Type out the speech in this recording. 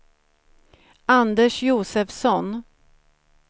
Anders Josefsson